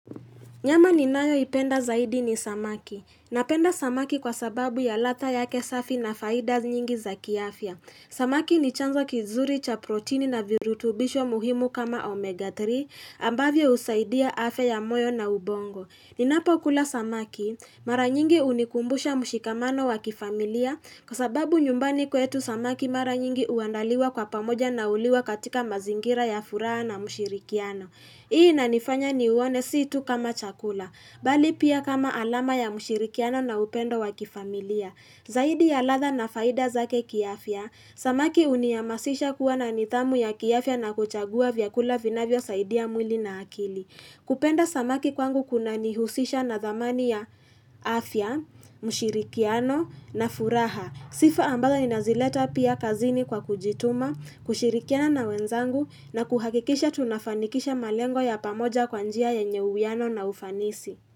Nyama ni nayo ipenda zaidi ni samaki. Napenda samaki kwa sababu ya lata ya lkw safi na faida nyingi za kiafia. Samaki ni chanzo kizuri cha proteini na virutubisho muhimu kama omega 3 ambavye usaidia afe ya moyo na ubongo. Ninapa ukula samaki mara nyingi unikumbusha mushikamano wa kifamilia kwa sababu nyumbani kuhetu samaki mara nyingi uandaliwa kwa pamoja na uliwa katika mazingira ya fura na mushirikiano. Hii nanifanya ni uone situ kama chakula, bali pia kama alama ya mushirikiano na upendo wakifamilia. Zaidi ya latha na faida zake kiafia, samaki uniamasisha kuwa na nidhamu ya kiafia na kuchagua vyakula vinavyo saidia mwili na akili. Kupenda samaki kwangu kuna nihusisha na zamani ya afya, mushirikiano na furaha. Sifu ambayo ni nazileta pia kazini kwa kujituma, kushirikiana na wenzangu na kuhakikisha tunafanikisha malengo ya pamoja kwanjia yenye uwiano na ufanisi.